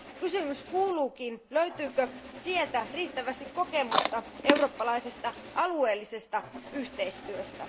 Kysymys kuuluukin, löytyykö sieltä riittävästi kokemusta eurooppalaisesta alueellisesta yhteistyöstä?